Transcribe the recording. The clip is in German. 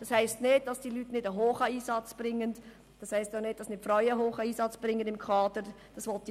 Dies bedeutet nicht, dass das Kaderpersonal und insbesondere die Frauen im hohen Kader nicht einen hohen Einsatz leisten.